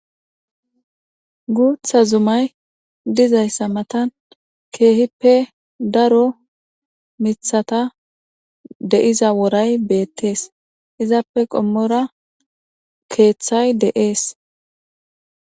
guutha zumay dizayssa matan keehippe daro mithata de7iza woray beettees izappe qommora keeththay de7ees